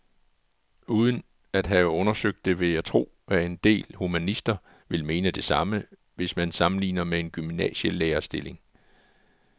Uden at have undersøgt det vil jeg tro, at en del humanister vil mene det samme, hvis man sammenligner med en gymnasielærerstilling.